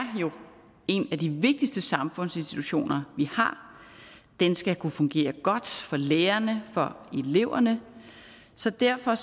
jo en af de vigtigste samfundsinstitutioner vi har den skal kunne fungere godt for lærerne og for eleverne så derfor